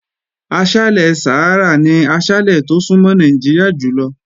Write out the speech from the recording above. Aṣálẹ̀ Sàhárà ni aṣálẹ̀ tó súnmọ́ Nàìjíríà jùlọ.